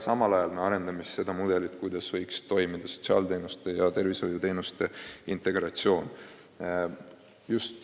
Me arendame seal mudelit, kuidas võiks toimuda sotsiaalteenuste ja tervishoiuteenuste integratsioon.